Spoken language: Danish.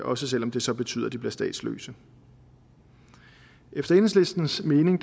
også selv om det så betyder at de bliver statsløse efter enhedslistens mening